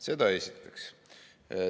Seda esiteks.